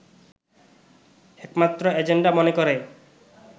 একমাত্র এজেন্ডা মনে করে